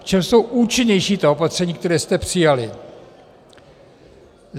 V čem jsou účinnější ta opatření, která jste přijali?